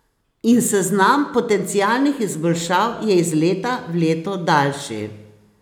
In seznam potencialnih izboljšav je iz leta v leto daljši.